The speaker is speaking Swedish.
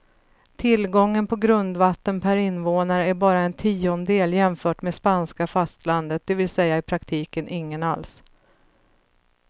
Tillgången på grundvatten per invånare är bara en tiondel jämfört med spanska fastlandet, det vill säga i praktiken ingen alls.